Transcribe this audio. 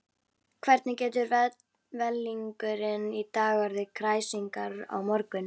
Hvernig getur vellingurinn í dag orðið kræsingar á morgun?